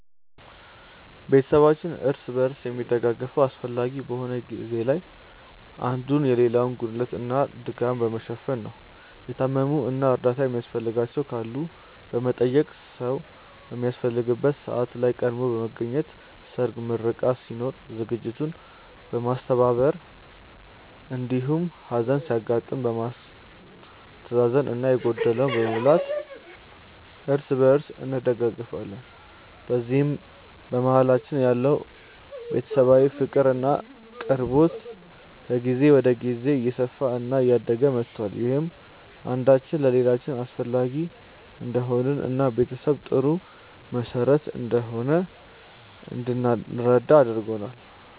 ቤተሰባችን እርስ በርስ የሚደጋገፈው አስፈላጊ በሆነ ጊዜ ላይ አንዱ የሌላውን ጉድለት እና ድካም በመሸፈን ነው። የታመሙ እና እርዳታ የሚያስፈልጋቸው ካሉ በመጠየቅ፣ ሰዉ በሚያስፈልግበት ሰዓት ላይ ቀድሞ በመገኘት ሰርግ፣ ምርቃት ሲኖር ዝግጅቱን በማስተባበር እንዲሁም ሀዘን ሲያጋጥም በማስተዛዘን እና የጎደለውን በመሙላት እርስ በእርስ እንደጋገፋለን። በዚህም በመሀላችን ያለው ቤተሰባዊ ፍቅር እና ቅርበት ከጊዜ ወደ ጊዜ እየሰፋ እና እያደገ መቷል። ይህም አንዳችን ለሌላችን አስፈላጊ እንደሆንን እና ቤተሰብ ጥሩ መሰረት እንደሆነ እንድንረዳ አድርጎናል።